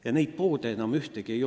Ja neid pole enam ühtegi järel.